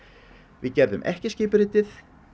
við gerðum ekki skipuritið